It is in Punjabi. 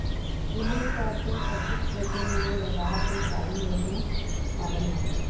ਇਹ ਮੁੱਖ ਤੌਰ ਤੇ ਅਟੁੱਟ ਪ੍ਰੋਟੀਨ ਲਈ ਲਗਾਵ ਦੇ ਸਾਧਨ ਵਜੋਂ ਸ਼ਾਮਲ ਹਨ